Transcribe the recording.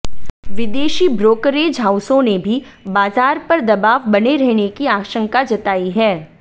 विदेशी ब्रोकरेज हाउसों ने भी बाजार पर दबाव बने रहने की आशंका जताई है